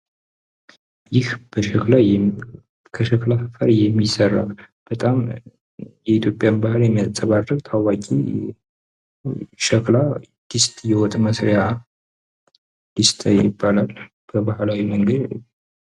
ይህ ከሸክላ አፈር የሚሠራይህ ከሸክላ የሚሠራ በጣም የኢትዮጵያን ባህል የሚያንፅባረቅ ታዋቂ ሻክላ ድስት የወጥ መስሪያ ድስት ይባላል። በባህላዊ መንገድ